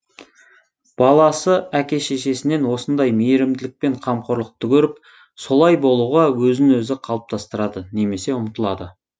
баласы әке шешесінен осындай мейірімділік пен қамқорлыкты көріп солай болуға өзін өзі қалыптастырады немесе ұмтылады